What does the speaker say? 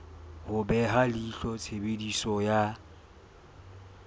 ho beha leihlo tshebediso ya